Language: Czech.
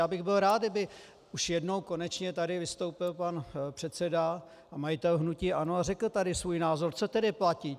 Já bych byl rád, kdyby už jednou konečně tady vystoupil pan předseda a majitel hnutí ANO a řekl tady svůj názor, co tedy platí.